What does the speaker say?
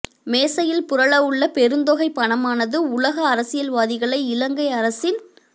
மேசையில் புரளவுள்ள பெருந்தொகைப் பணமானது உலக அரசியல்வாதிகளை இலங்கை அரசின்